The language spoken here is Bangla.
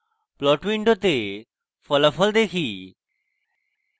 plot window ফলাফল দেখি